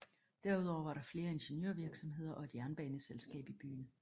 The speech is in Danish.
Derudover var der flere ingeniørvirksomheder og et jernbaneselskab i byen